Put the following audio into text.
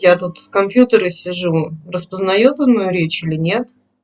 я тут с компьютера сижу распознает он мою речь или нет